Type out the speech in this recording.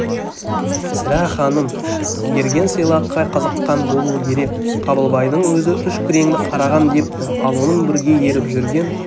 сірә ханым берген сыйлыққа қызыққан болуы керек қабылбайдың өзі үш күреңді қарағам депті ал оның бірге еріп жүрген